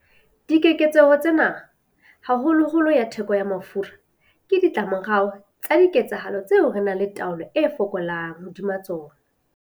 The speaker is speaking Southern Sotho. Dikeketseho tsena, haholoholo ya theko ya mafura, ke ditlamorao tsa diketsahalo tseo re nang le taolo e fokolang hodima tsona.